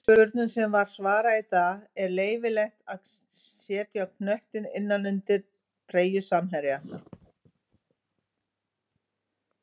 Fyrirspurnum sem var svarað í dag:-Er leyfilegt að setja knöttinn innan undir treyju samherja?